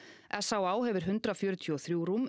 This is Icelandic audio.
s á á hefur hundrað fjörutíu og þrjú rúm